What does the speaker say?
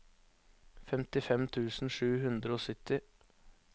femtifem tusen sju hundre og sytti